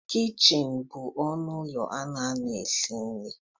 Kichịnị bụ ọnụ ụlọ a na-anọ esi nri.